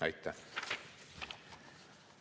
Aitäh!